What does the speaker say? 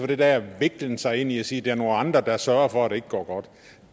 den der viklen sig ind i at sige er nogle andre der sørger for at det ikke går godt